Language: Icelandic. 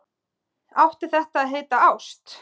Átti þetta að heita ást?